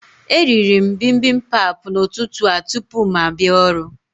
E rịrị m bimbimbap n'ụtụtụ a tupu m abịa ọrụ